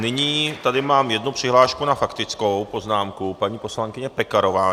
Nyní tady mám jednu přihlášku na faktickou poznámku paní poslankyně Pekarové.